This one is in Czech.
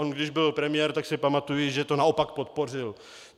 On když byl premiér, tak si pamatuji, že to naopak podpořil.